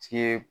Ci ye